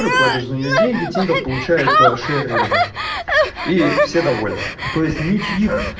подожду нее деньги тинькофф получается деревню и все довольны то есть ничего